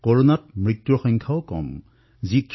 কৰোনাৰ ফলত হোৱাৰ মৃত্যুৰ সংখ্যাও আমাৰ দেশত যথেষ্ট কম